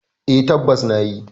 Eh, tabbas na nayi.